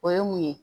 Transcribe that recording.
O ye mun ye